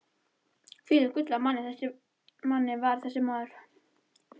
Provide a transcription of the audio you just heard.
Hvílíkt gull af manni var þessi maður!